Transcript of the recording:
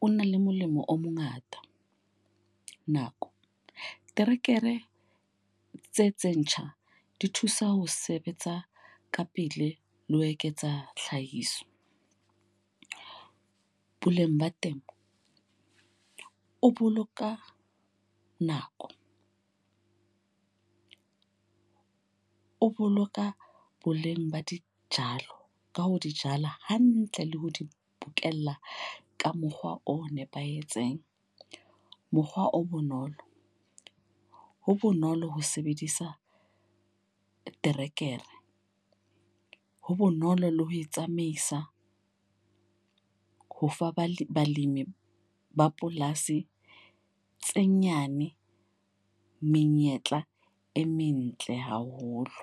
o na le molemo o mongata. Nako. Terekere tse tse ntjha di thusa ho sebetsa ka pele le ho eketsa tlhahiso. Puleng ba temo o boloka nako, o boloka boleng ba di jalo ka ho di jala hantle le ho di bokella ka mokgwa o nepahetseng. Mokgwa o bonolo, ho bonolo ho sebedisa terekere. Ho bonolo le ho e tsamaisa ho fa bale balemi ba polasi tse nyane menyetla e mentle haholo.